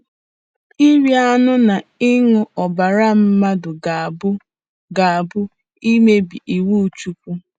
Iri anụ na ịṅụ ọbara mmadụ ga-abụ ga-abụ imebi iwu Chineke.